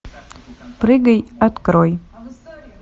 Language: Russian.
прыгай открой